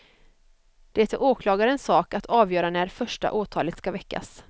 Det är åklagarens sak att avgöra när första åtalet ska väckas.